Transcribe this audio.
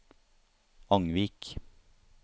Angvik